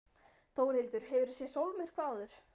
Þórhildur: Hefurðu séð sólmyrkva áður?